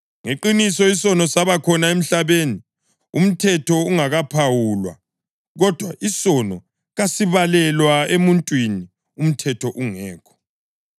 Ngeqiniso isono saba khona emhlabeni umthetho ungakaphawulwa, kodwa isono kasibalelwa emuntwini umthetho ungekho.